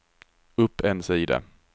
upp en sida